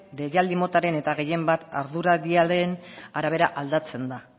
deialdi motaren eta gehienbat arduraldiaren arabera aldatzen da